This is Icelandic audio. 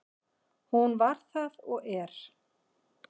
Hún var það og er.